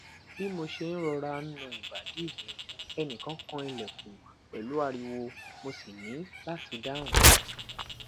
bi mo ṣe n rọra n na ibadi mi ẹnikan kan ilẹkun pẹlu ariwo mo si ni lati dahun